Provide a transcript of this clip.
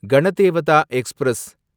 Ganadevata express